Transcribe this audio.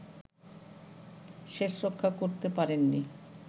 শেষরক্ষা করতে পারেননি